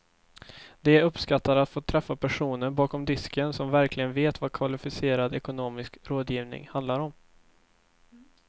De uppskattar att få träffa personer bakom disken som verkligen vet vad kvalificerad ekonomisk rådgivning handlar om.